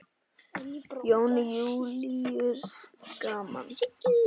Jón Júlíus: Gaman?